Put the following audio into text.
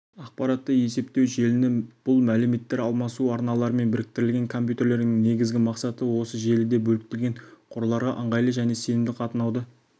ақпараттық-есептеу желіні бұл мәліметтер алмасу арналарымен біріктірілген компьютерлерінің негізгі мақсаты осы желіде бөліктелген қорларға ыңғайлы және сенімді қатынауды